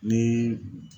Ni